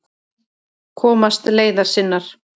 Komast leiðar sinnar.